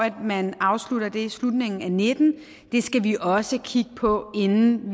at man afslutter det i slutningen af og nitten det skal vi også kigge på inden